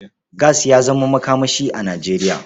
Gas ya zama makamashi a Nijeriya.